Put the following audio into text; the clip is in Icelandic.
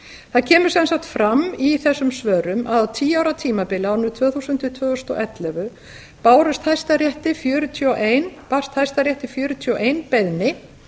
það kemur sem sagt fram í þessum svörum að á tíu ára tímabili árunum tvö þúsund til tvö þúsund og ellefu barst hæstarétti fjörutíu og eitt beiðni